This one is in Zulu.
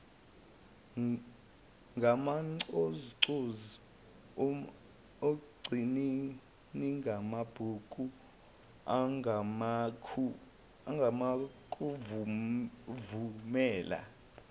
ngamancozuncozu umcwaningimabhuku angakuvumela